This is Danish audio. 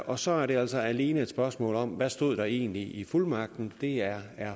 og så er det altså alene et spørgsmål om hvad stod der egentlig i fuldmagten det er